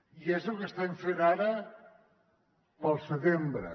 i és el que estem fent ara pel setembre